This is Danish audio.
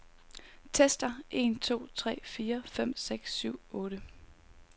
Tester en to tre fire fem seks syv otte.